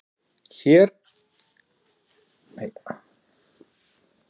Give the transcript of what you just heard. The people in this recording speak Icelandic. Hérna, hirtu þetta drasl þitt og skilaðu því aftur í sjoppuna hans pabba þíns.